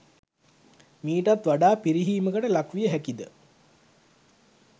මීටත් වඩා පිරිහීමකට ලක් විය හැකිද?